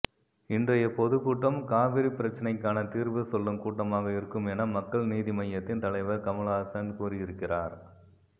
இன்றைய பொதுக்கூட்டம் காவிரிப் பிரச்சனைக்கான தீர்வு சொல்லும் கூட்டமாக இருக்கும் என மக்கள் நீதி மய்யத்தின் தலைவர் கமல்ஹாசன் கூறியிருக்கிறார்